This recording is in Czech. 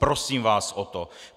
Prosím vás o to.